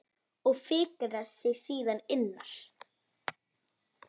Og fikrar sig síðan innar?